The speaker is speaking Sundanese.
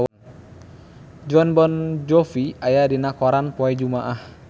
Jon Bon Jovi aya dina koran poe Jumaah